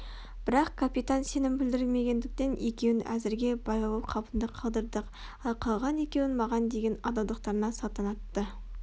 бірақ капитан сенім білдірмегендіктен екеуін әзірге байлаулы қалпында қалдырдық ал қалған екеуін маған деген адалдықтарына салтанатты